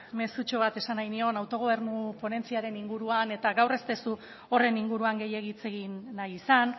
mezutxo bat esan nahi nion autogobernu ponentziaren inguruan eta gaur ez duzu horren inguruan gehiegi hitz egin nahi izan